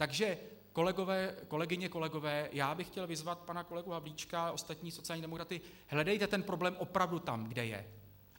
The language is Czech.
Takže kolegyně, kolegové, já bych chtěl vyzvat pana kolegu Havlíčka a ostatní sociální demokraty - hledejte ten problém opravdu tam, kde je.